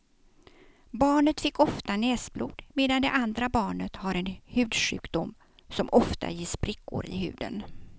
Barnet fick ofta näsblod medan det andra barnet har en hudsjukdom som ofta ger sprickor i huden.